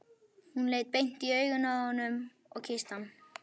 Hún leit beint í augun á honum og kyssti hann.